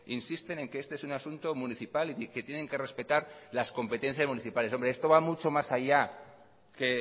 insisten en que este es un asunto municipal y que tienen que respetar las competencias municipales hombre esto va mucho más allá que